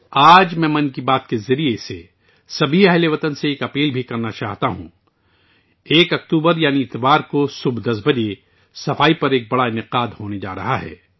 آج میں من کی بات کے ذریعے بھی تمام ہم وطنوں سے ایک گزارش کرنا چاہتا ہوں کہ یکم اکتوبر یعنی اتوار کی صبح 10 بجے صفائی ستھرائی پر ایک بڑا پروگرام منعقد ہونے جا رہا ہے